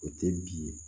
O tɛ bi ye